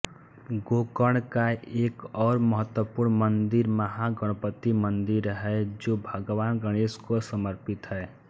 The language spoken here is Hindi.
गोकर्ण का एक और महत्त्वपूर्ण मंदिर महागणपति मंदिर है जो भगवान गणेश को समर्पित है